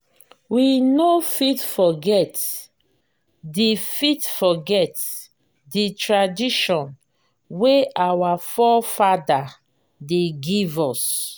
we no fit forget di fit forget di tradition wey our fore-fada dem give us.